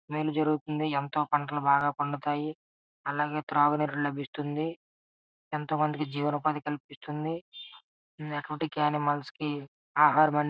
మేలు జరుగుతుంది ఎంతో పంటలు బాగా పండుతాయి అలాగే త్రాగునీరు లభిస్తుంది ఎంతో మందికి జీవినోపాధి కల్పిస్తుంది ఆక్వాటిక్ అనిమల్స్ కి ఆహారం అనేది --